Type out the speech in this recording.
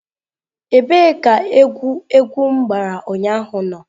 Ebee ka egwu egwu m gbara ụnyaahụ nọ?